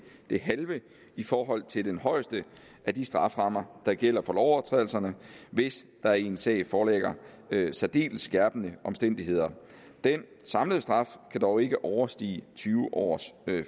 det halve i forhold til den højeste af de strafferammer der gælder for lovovertrædelserne hvis der i en sag foreligger særdeles skærpende omstændigheder den samlede straf kan dog ikke overstige tyve års